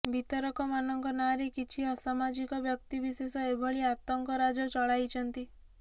ବିତରକମାନଙ୍କ ନାଁରେ କିଛି ଅସାମାଜିକ ବ୍ୟକ୍ତିବିଶେଷ ଏଭଳି ଆତଙ୍କରାଜ ଚଳାଇଛନ୍ତି